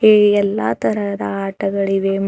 ಈ ಎಲ್ಲಾ ತರಹದ ಆಟಗಳಿವೆ ಮ--